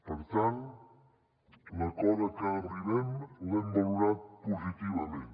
per tant l’acord a què arribem l’hem valorat positivament